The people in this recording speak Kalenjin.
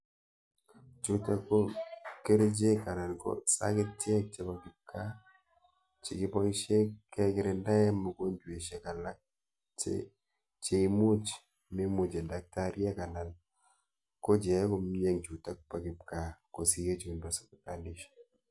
Chutok ko kerichek anan ko sagetiek chebo kibgaa che kiboisie kekirindae mogonjwesiek alak che cheimuch memuche daktariek anan ko cheae komyeng chutok ba kibgaa kosir chebo sibitalishek.